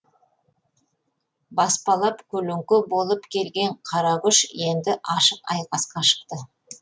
баспалап көлеңке болып келген қара күш енді ашық айқасқа шықты